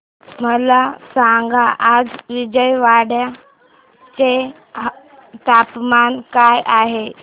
मला सांगा आज विजयवाडा चे तापमान काय आहे